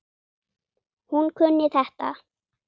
Hún kunni þetta.